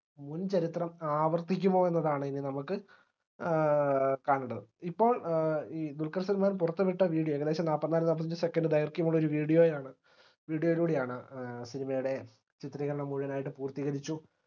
മുൻചരിത്രം ആവർത്തിക്കുമോ എന്നതാണ് എനി നമക്ക് ഏർ കാണണ്ടത് ഇപ്പോൾ ഏർ ഇ ദുൽഖർ സൽമാൻ പുറത്തുവിട്ട video ഏകദേശം നാല്പതിനാല് നാപ്പത്തഞ്ചു second ദൈർഘ്യം ഉള്ള ഒരു video യാണ് video യിലൂടെയാണ് ഏർ cinema യുടെ ചിത്രീകരണം മുഴുവനായിട്ട് പൂർത്തീകരിച്ചു